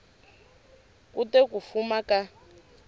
ku te ku fuma ka